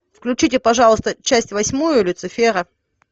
включите пожалуйста часть восьмую люцифера